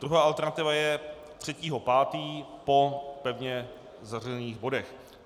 Druhá alternativa je 3. 5. po pevně zařazených bodech.